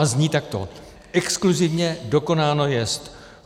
A zní takto: Exkluzivně dokonáno jest.